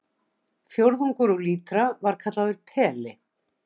Fjórðungur úr lítra var kallaður peli.